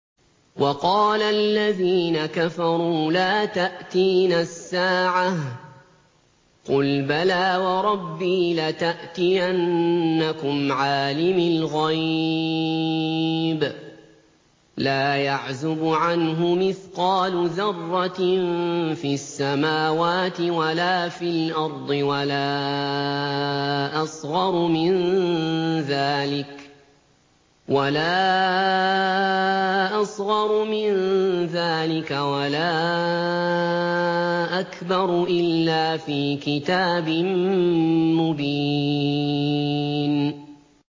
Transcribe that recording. وَقَالَ الَّذِينَ كَفَرُوا لَا تَأْتِينَا السَّاعَةُ ۖ قُلْ بَلَىٰ وَرَبِّي لَتَأْتِيَنَّكُمْ عَالِمِ الْغَيْبِ ۖ لَا يَعْزُبُ عَنْهُ مِثْقَالُ ذَرَّةٍ فِي السَّمَاوَاتِ وَلَا فِي الْأَرْضِ وَلَا أَصْغَرُ مِن ذَٰلِكَ وَلَا أَكْبَرُ إِلَّا فِي كِتَابٍ مُّبِينٍ